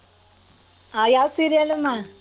ಆ ಯಾವ್ serial?